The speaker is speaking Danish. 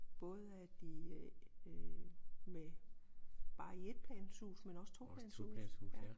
Både af de øh med bare etplanshus men også toplanshus